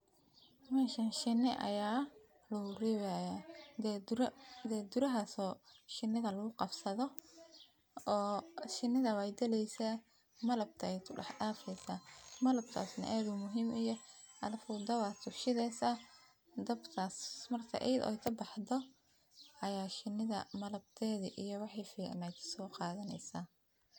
Meshan shini ayaa lagureebihayaa gaagura gaagurahas oo shinidha laguqabsadho oo shinidha wey galeysa malabka ayee kudax dafeysa, malabkas neh aad uu muhiim uyah alafu dab ayaa soo shidheysa dabkas mar iyadgha oo kabaxdo ayaa shinidha malabkedhi iyo wixi ficnaa sooqadhanesaa.